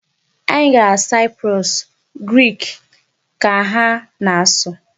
Anyị gara Cyprus, Grik ka ha na-asụ.